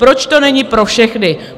Proč to není pro všechny?